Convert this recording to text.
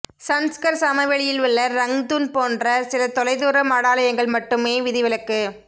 சன்ஸ்கர் சமவெளியில் உள்ள ரங்துன் போன்ற சில தொலைதூர மடாலயங்கள் மட்டுமே விதிவிலக்கு